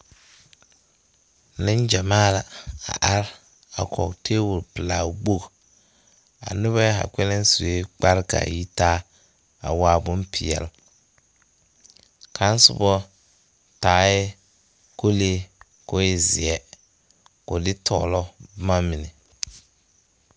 Neŋgyamaa la a are a kɔge tɛbol pɛlaa wogi a neba zaa sue kpare ka a yitaa a waa bompeɛle kaŋa soba taɛ kolee k'o e zeɛ ka o de tɔglo boma mine.